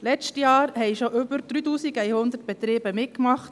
Letztes Jahr haben bereits über 3000 Betriebe mitgemacht.